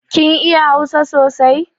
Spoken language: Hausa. Kin iya hausa sosai?